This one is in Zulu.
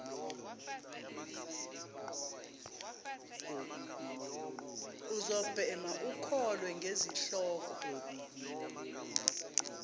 uzobhema ukholwe ngezihloko